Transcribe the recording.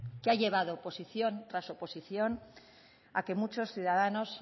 que ha llevado oposición tras oposición a que muchos ciudadanos